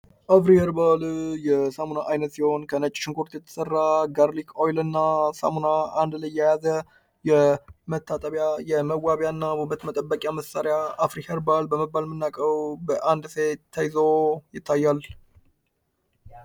አፍሪ ኸርባል የሳሙና አይነት ፤ ሲሆን ከነጭ ሽንኩርት የተሰራ ጋርሊክ ኦይል እና ሳሙና አንድ ላይ የያዘ የመታጠቢያ የመዋቢያ እና ውበት መጠበቂያ መሳሪያ አፍሪ ኸርባል በመባል የምናቀው በአንድ ሴት ተይዞ ይታያል።